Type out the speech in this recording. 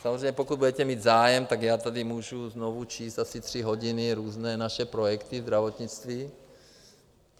Samozřejmě pokud budete mít zájem, tak já tady můžu znovu číst asi tři hodiny různé naše projekty ve zdravotnictví.